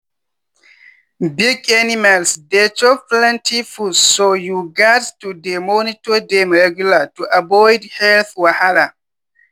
big animals dey chop plenty food so you gats to dey monitor dem regular to avoid- health wahala.